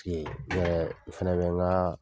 ne yɛrɛ n fana bɛ n ka